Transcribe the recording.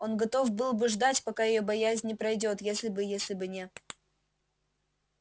он готов был бы ждать пока её боязнь не пройдёт если бы если бы не